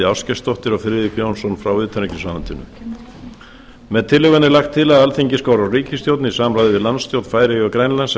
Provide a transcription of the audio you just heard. ásgeirsdóttur og friðrik jónsson frá utanríkisráðuneyti með tillögunni er lagt til að alþingi skori á ríkisstjórnina í samráði við landsstjórnir færeyja og grænlands